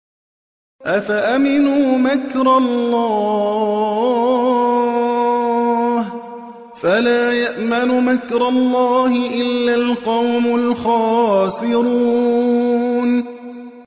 أَفَأَمِنُوا مَكْرَ اللَّهِ ۚ فَلَا يَأْمَنُ مَكْرَ اللَّهِ إِلَّا الْقَوْمُ الْخَاسِرُونَ